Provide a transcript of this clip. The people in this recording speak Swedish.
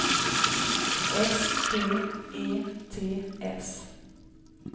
S P E T S